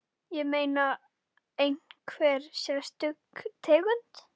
Ég meina, einhver sérstök tegund?